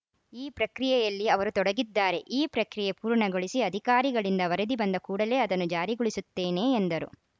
ಈ ಪ್ರಕ್ರಿಯೆಯಲ್ಲಿ ಅವರು ತೊಡಗಿದ್ದಾರೆ ಈ ಪ್ರಕ್ರಿಯೆ ಪೂರ್ಣಗೊಳಿಸಿ ಅಧಿಕಾರಿಗಳಿಂದ ವರದಿ ಬಂದ ಕೂಡಲೇ ಅದನ್ನು ಜಾರಿಗೊಳಿಸುತ್ತೇನೆ ಎಂದರು